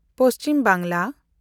Paschim Bangla